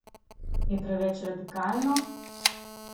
Je preveč radikalno?